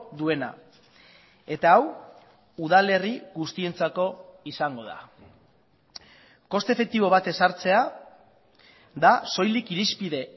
duena eta hau udalerri guztientzako izango da koste efektibo bat ezartzea da soilik irizpide